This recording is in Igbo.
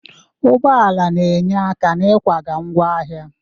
Ụgbọ ala na-enyere aka n'ịkwaga ngwa ahịa.